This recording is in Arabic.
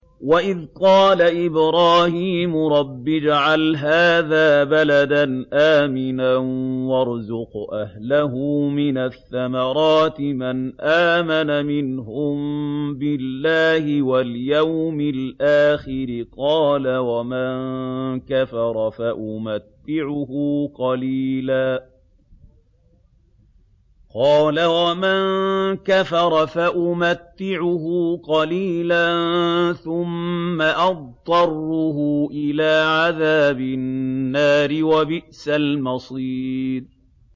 وَإِذْ قَالَ إِبْرَاهِيمُ رَبِّ اجْعَلْ هَٰذَا بَلَدًا آمِنًا وَارْزُقْ أَهْلَهُ مِنَ الثَّمَرَاتِ مَنْ آمَنَ مِنْهُم بِاللَّهِ وَالْيَوْمِ الْآخِرِ ۖ قَالَ وَمَن كَفَرَ فَأُمَتِّعُهُ قَلِيلًا ثُمَّ أَضْطَرُّهُ إِلَىٰ عَذَابِ النَّارِ ۖ وَبِئْسَ الْمَصِيرُ